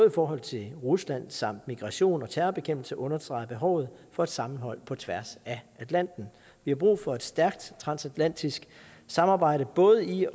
i forhold til rusland samt migration og terrorbekæmpelse understreger behovet for et sammenhold på tværs af atlanten vi har brug for et stærkt transatlantisk samarbejde både i